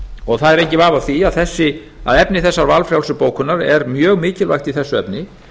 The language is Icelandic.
og það er enginn vafi á því að efni þessarar valfrjálsu bókunar er mjög mikilvægt í þessu efni